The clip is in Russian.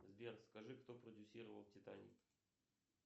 сбер скажи кто продюсировал титаник